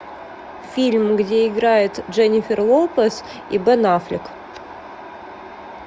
фильм где играет дженнифер лопес и бен аффлек